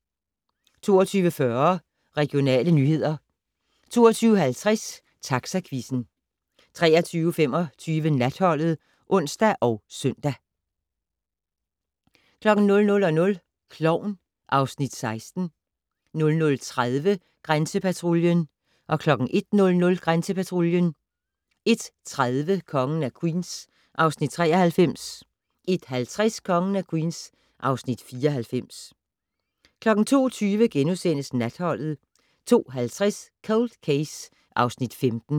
22:40: Regionale nyheder 22:50: Taxaquizzen 23:25: Natholdet (ons og søn) 00:00: Klovn (Afs. 16) 00:30: Grænsepatruljen 01:00: Grænsepatruljen 01:30: Kongen af Queens (Afs. 93) 01:50: Kongen af Queens (Afs. 94) 02:20: Natholdet * 02:50: Cold Case (Afs. 15)